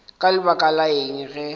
ka lebaka la eng ge